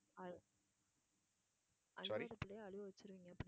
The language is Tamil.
அழுவாத பிள்ளையை அழுவ வெச்சிருவீங்க